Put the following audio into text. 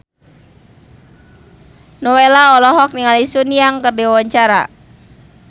Nowela olohok ningali Sun Yang keur diwawancara